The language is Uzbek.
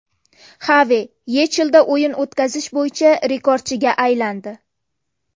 Xavi YeChLda o‘yin o‘tkazish bo‘yicha rekordchiga aylandi.